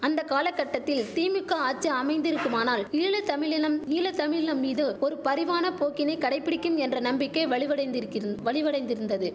அந்த காலகட்டத்தில் திமுக்கா ஆச்சி அமைத்திருக்குமானால் ஈழ தமிழினம் ஈழ தமிழினம் மீது ஒரு பரிவான போக்கினை கடைபிடிக்கும் என்ற நம்பிக்கை வலுவடைந்திரிக்கிறின் வலிவடைந்திருந்தது